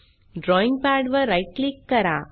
drawing pad वर right click करा